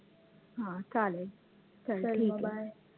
हा चालेल चल ठिके